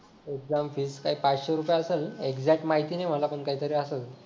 exam fee काही पाचशे रुपये असल ना एक्झॅक्ट माहिती नाही मला पण काहीतरी असल